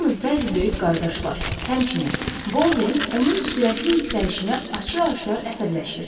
Yalnız bəzi böyük qardaşlar, həmçinin, Bolden onun sürətli yüksəlişinə açıq-aşkar əsəbləşirdi.